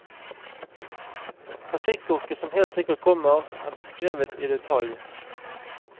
Trafikkorkene som helt sikkert kommer, er beskrevet i detalj.